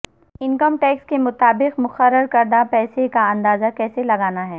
income tax کے مطابق مقرر کردہ پیسے کا اندازہ کیسے لگانا ہے